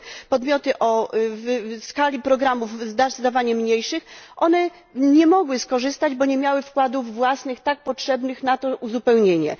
podmioty o skali programów zdecydowanie mniejszej, one nie mogły skorzystać, bo nie miały wkładów własnych tak potrzebnych na to uzupełnienie.